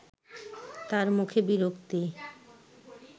তার মুখে বিরক্তি